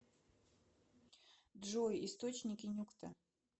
джой источники нюкта